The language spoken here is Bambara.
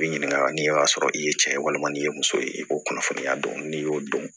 I bi ɲininka ni y'a sɔrɔ i ye cɛ ye walima ni ye muso ye i b'o kunnafoniya don n'i y'o dɔn